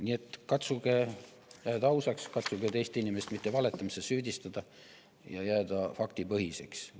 Nii et katsuge jääda ausaks, katsuge teist inimest valetamises mitte süüdistada ja jääda faktipõhiseks.